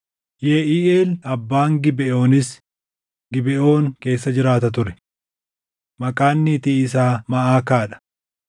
Yeʼiiʼeel abbaan Gibeʼoonis Gibeʼoon keessa jiraata ture. Maqaan niitii isaa Maʼakaa dha;